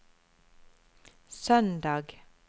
søndag